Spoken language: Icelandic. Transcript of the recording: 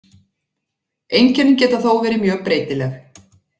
Einkennin geta þó verið mjög breytileg.